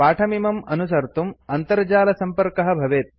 पाठमिमं अनुसर्तुं अन्तर्जालसम्पर्कः भवेत्